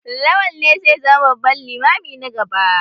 Lawal ne zai zama babban limami na gaba.